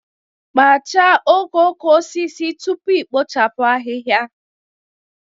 Kpachaa okooko osisi tupu i kpochapụ ahihia